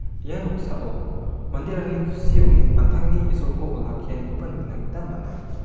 ia noksao manderangni kusi ong·e an·tangni isolko olakianikoba nikna gita man·a.